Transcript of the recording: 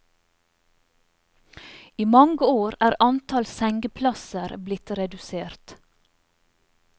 I mange år er antall sengeplasser blitt redusert.